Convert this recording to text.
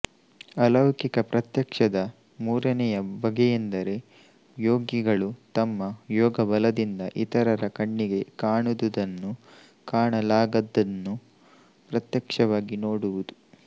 ಅಲೌಕಿಕ ಪ್ರತ್ಯಕ್ಷದ ಮೂರನೆಯ ಬಗೆಯೆಂದರೆ ಯೋಗಿಗಳು ತಮ್ಮ ಯೋಗ ಬಲದಿಂದ ಇತರರ ಕಣ್ಣಿಗೆ ಕಾಣುದುದನ್ನು ಕಾಣಲಾಗದ್ದನ್ನು ಪ್ರತ್ಯಕ್ಷವಾಗಿ ನೋಡುವುದು